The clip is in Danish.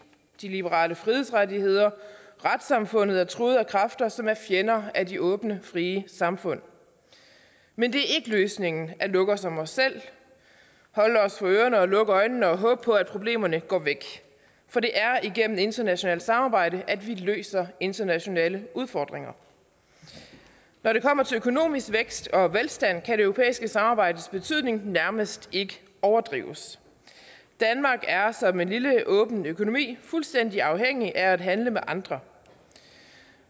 de liberale frihedsrettigheder og retssamfundet er truet af kræfter som er fjender af de åbne frie samfund men det er ikke løsningen at lukke os om os selv holde os for ørerne og lukke øjnene og håbe på at problemerne går væk for det er igennem internationalt samarbejde at vi løser internationale udfordringer når det kommer til økonomisk vækst og velstand kan det europæiske samarbejdes betydning nærmest ikke overdrives danmark er som en lille åben økonomi fuldstændig afhængig af at handle med andre